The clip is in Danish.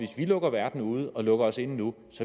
vi lukker verden ude og lukker os inde nu